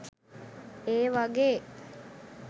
ඒ වගේ